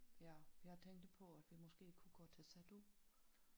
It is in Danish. Ja jeg tænkte på at vi måske kunne gå til Sadhu